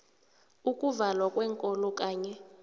ukuvalwa kweenkolo kanye